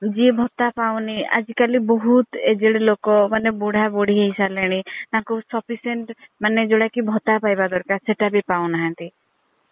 ଜିଏଆ ଭତ୍ତା ପାଉନି ଆଜି କାଲି ଆଜି କାଲି ବହୁତ୍ ଏଜେଡ୍ ଲୋକ ମାନେ ବୁଢା ବୁଢୀ ହେଇ ସାରିଲେଣି ତାଙ୍କୁ sufficient ମାନେ ଯୋଉଟା ଭତ୍ତା ପାଇବା ଦରକାର ସେଇଟା ବି ପାଉନାହାନ୍ତି।